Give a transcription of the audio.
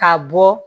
Ka bɔ